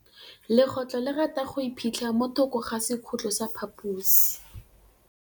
Legôtlô le rata go iphitlha mo thokô ga sekhutlo sa phaposi.